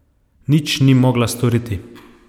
Nič ni mogla storiti.